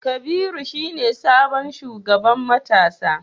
Kabiru shine sabon shugaban matasa